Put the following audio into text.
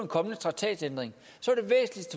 kommende traktatændring